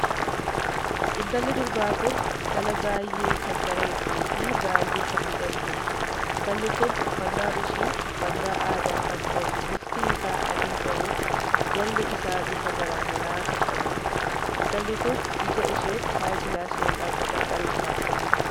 Intalli durbaa kun intala baay'ee kan bareedduu fi baay'ee kan miidhagduudha. intalli kun uffannaan ishee uffannaa aadaa kan tahe bifti isaa adii tahee jalli isaa bifa garaagaraa kan qabuudha. intalli kun ija isheetti higilaasii ykn maxanxarii kaa'atte jirti.